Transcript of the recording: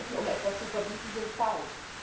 Quoten, um etwas zu verbieten, sind falsch.